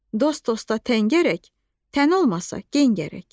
Dost dosta təngərək, tən olmasa gen gərək.